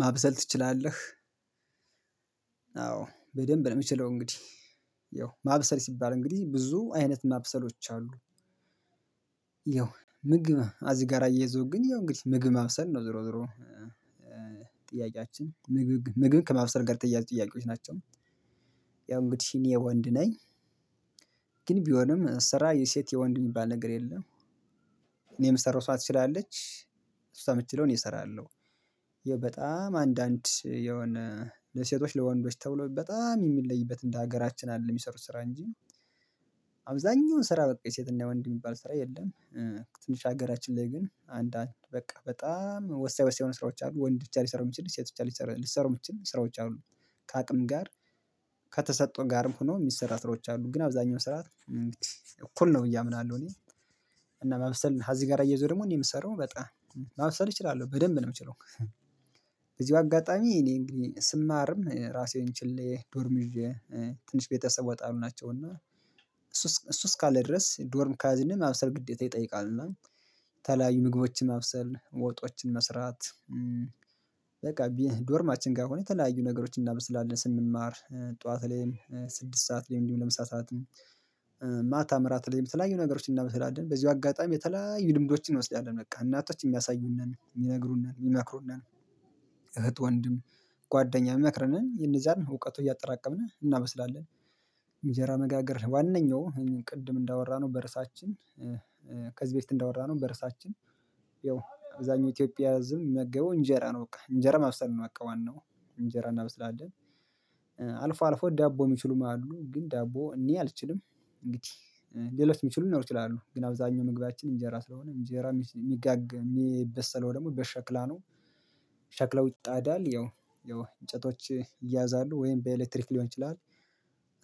ማብሰል ትችላለህ? አዎ በደንብ ነው የምችለው እንግዲህ ያው ማብሰል ሲባል እንግዲህ ብዙ አይነት ማብሰሎች አሉ። ያው ምግብ አዚ ጋራ እየይዘው ግን ያው እንግዲህ ምግብ ማብሰል ነው። ዞሮ ዞሮ ጥያቄያችን ምግብ ምግብ ከማብሰል ጋር የተያያዙ ጥያቄዎች ናቸው። ያው እንግዲህ እኔ ወንድ ነኝ። ግን ቢሆንም ስራ የሴት የወንድ የሚባል ነገር የለም። እኔ ምሰራው እሷ ትችላለች እሷ ምት ችለው እኔ እሰራለሁ። ይኸው በጣም አንዳንድ የሆነ ለሴቶች ለወንዶች ተብሎ በጣም የሚለይበት እንደ ሀገራችን አለ የሚሰሩት ስራ እንጂ አብዛኛውን ስራ በቃ የሴትና ወንድ የሚባል ስራ የለም። ትንሽ ሀገራችን ላይ ግን አንዳንድ በቃ በጣም ወሳኝ ወሳኝ የሆኑ ስራዎች አሉ። ወንድ ብቻ ሊሰሩ የሚችሉ ሴቶች ብቻ ሊሰሩ ልሰራው የምችል ስራዎች አሉ። ከአቅም ጋር ከተሰጠው ጋርም ሆኖ የሚሰራ ስራዎች አሉ። ግን አብዛኛው ስራ እኩል ነው ብዬ አምናለሁ። እኔ እና ማበሰል ከዚህ ጋር አያይዞ ደግሞ እኔ የምሰራው በጣም ማበሰል እችላለሁ። በደንብ ነው የምችለ። በዚህ አጋጣሚ እኔ እንግዲህ ስማርም ራሴን ችሌ ዶርም ይዤ ትንሽ ቤተሰብ ወጣሉ ናቸው። እና እሱ እሱ እስካለ ድረስ ዶርም ካዝንም ማብሰል ግዴታ ይጠይቃል። እና ተለያዩ ምግቦችን ማብሰል ወጦችን መስራት በቃ ዶርማችን ጋር ከሆነ የተለያዩ ነገሮችን እናበስላለን ስንማር ጠዋት ላይ ስድስት ሰዓት ላይ እንዲሁ ለምሳ ሰዓት ማታም እራት ላይም የተለያዩ ነገሮችን እናበሰላለን። በዚሁ አጋጣሚ የተለያዩ ልምዶችን እንወስዳለን። በቃ እናቶች የሚያሳዩን ነን የሚነግሩን ነን የሚመክሩን ነን እህት ወንድም ጓደኛ መክረንን እነዛን እውቀቱ እያጠራቀምን እናበስላለን። እንጀራ መጋገር ዋናኛው ቅድም እንዳወራነው በርሳችን ከዚህ በፊት እንዳወራነው በርሳችን ያው አብዛኛው ኢትዮጵያ ዝም የሚመገበው እንጀራ ነው እንጀራ ማብሰል ነው። በቃ ዋናው እንጀራ እናበስላለን አልፎ አል አልፎ ዳቦ የሚችሉ ማለት ነው ግን ዳቦ እኔ አልችልም። እንግዲህ ሌሎች የሚችሉ ሊኖሩ ይችላሉ። ግን አብዛኛው ምግባችን እንጀራ ስለሆነ እንጀራ የሚጋገረው የሚበሰለው ደግሞ በሸክላ ነው። ሸክለው ይጣዳል ያው ያው እንጨቶች ይያዛሉ። ወይም በኤሌክትሪክ ሊሆን ይችላል።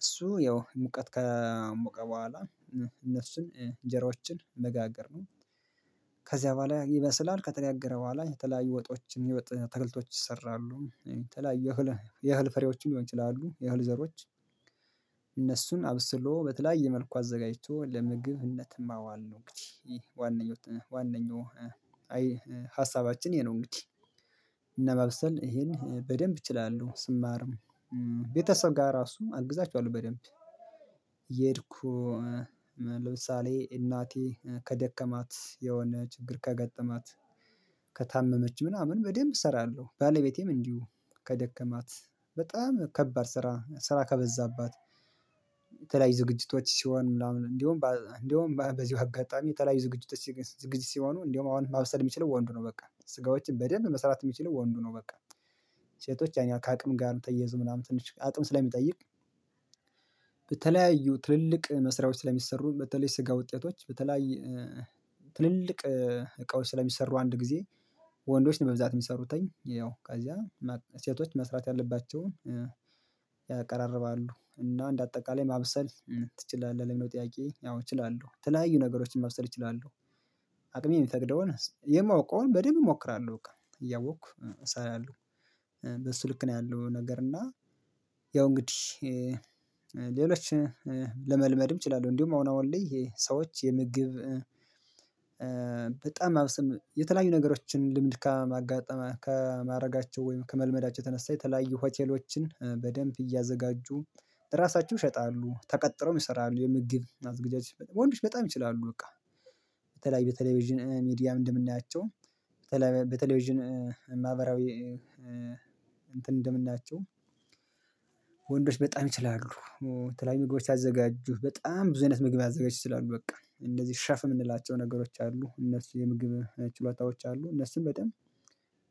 እሱ ያው ሙቀት ከሞቀ በኋላ እነሱን እንጀራዎችን መጋገር ነው። ከዚያ በኋላ ይበስላል ከተጋገረ በኋላ የተለያዩ ወጦችን የተከልቶች ይሰራሉ። የተለያዩ የህል የህል ፍሬዎችም ሊሆን ይችላሉ የህል ዘሮች አብስሎ በተለያየ መልኩ አዘጋጅቶ ለምግብነትም ማዋል ነው እንግዲህ ይህ ዋነኛው ዋነኛው ሀሳባችን ይሄ ነው እንግዲህ እና ማብሰል ይሄን በደንብ እችላለሁ። ስማርም ቤተሰብ ጋር ራሱም አግዛቸዋለው። በደንብ እሄድኩ ለምሳሌ እናቴ ከደከማት የሆነ ችግር ከገጠማት ከታመመች ምናምን በደንብ እሰራለሁ። ባለቤቴም እንዲሁ ከደከማት በጣም ከባድ ስራ ስራ ከበዛባት የተለያዩ ዝግጅቶች ሲሆን ምናምን እንደውም እንደውም በዚህ አጋጣሚ የተለያዩ ዝግጅቶች ዝግጅ ሲሆኑ እንደውም አዎ ማብሰል የሚችለው ወንዱ ነው በቃ። ስጋዎችን በደንብ መስራት የሚችለው ወንዱ ነው በቃ። ሴቶች ያኔ ከአቅም ጋር ተየዘው ምናምን ትንሽ አቅም ስለሚጠይቅ በተለያዩ ትልልቅ መስሪያዎች ስለሚሰሩ በተለይ ስጋ ውጤቶች በተለይ ትልልቅ እቃዎች ስለሚሰሩ አንድ ጊዜ ወንዶች ነው በብዛት የሚሰሩትኝ ያው ከዚያ ሴቶች መስራት ያለባቸውን ያቀራርባሉ እና እንደ አጠቃላይ ማብሰል ትችላለህ? ለሌሎች ጥያቄ ያው እችላለሁ። የተለያዩ ነገሮችን ማብሰል እችላለለሁ። አቅሜ የሚፈቅደውን የማውቀውን በደንብ እሞክራለሁ። በቃ እያወቅኩ እሰራለሁ በሱ ልክ ነው ያለው ነገር እና ያው እንግዲህ ሌሎች ለመልመድም እችላለሁ። እንዲሁ አሁን አሁን ላይ ሰዎች የምግብ በጣም አብስም የተለያዩ ነገሮችን ልምድ ከማጋጠመ ከማድረጋቸው ወይም ከመልመዳቸው የተነሳ የተለያዩ ሆቴሎችን በደንብ እያዘጋጁ ራሳቸው ይሸጣሉ። ተቀጥሮም ይሰራሉ የምግብ አዝግጃችሁ ወንዶች በጣም ይችላሉ በቃ። በተለይ በቴሌቪዥን ሚዲያ እንደምናያቸው በተለይ በቴሌቪዥን ማህበራዊ እንትን እንደምናያቸው ወንዶች በጣም ይችላሉ። የተለያይ ምግቦች ሲያዘጋጁ በጣም ብዙ አይነት ምግብ ማዘጋጀት ይችላሉ በቃ። እንደዚህ ሸፍ የምንላቸው ነገሮች አሉ እነሱ የምግብ ችሎታዎች አሉ እነሱም በጣም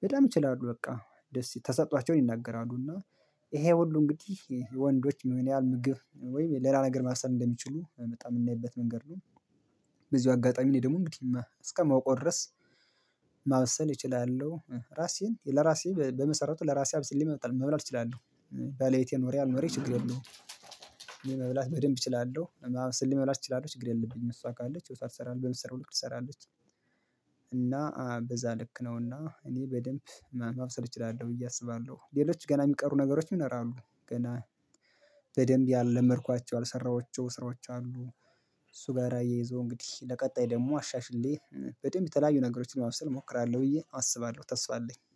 በጣም ይችላሉ በቃ። ደስ የተሰጧቸውን ይናገራሉ እና ይሄ ሁሉ እንግዲህ ወንዶች ምንጰያህል ምግብ ወይም ሌላ ነገር ማሰብ እንደሚችሉ በጣም የምናይበት መንገድ ነው። በዚህ አጋጣሚ እኔ ደግሞ እንግዲህ እስከማውቀው ድረስ ማብሰል እችላለሁ። ራሴን ለራሴ በመሰረቱ ለራሴ አብስሌ መብላት እችላለሁ ባለቤቴ ኖረይ አልኖረች ችግር የለውም። እኔ መብላት በደንብ እችላለሁ። አብስሌ መብላት እችላለህ ችግር የለብኝም። እሷ ካለች እሷ ትሰራለች በምትሰራው ሁሉ ትሰራለች እና በዛ ልክ ነው እና እኔ በደንብ ማብሰል እችላለሁ ብዬ አስባለሁ። ሌሎች ገና የሚቀሩ ነገሮች ይኖራሉ። ገና በደንብ ያልመድኳቸው ያልሰራሁትም ስራዎች አሉ። እሱ ጋር አያይዞ እንግዲህ ለቀጣይ ደግሞ አሻሽሌ በደንብ የተለያዩ ነገሮችን ማብሰል እሞክራለሁ ብዬ አስባለሁ ተስፋ አለኝ።